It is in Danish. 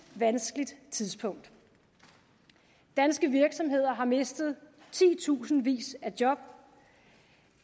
vanskeligt tidspunkt danske virksomheder har mistet titusindvis af job